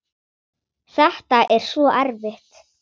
Þetta er svo erfitt.